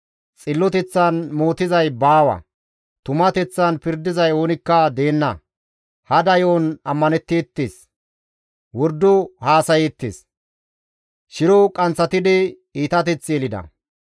Xilloteththan mootizay baawa; tumateththan pirdizay oonikka deenna. Hada yo7on ammanetteettes; wordo haasayeettes; shiro qanththatidi iitateth yelida.